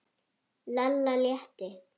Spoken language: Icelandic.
Lalla létti.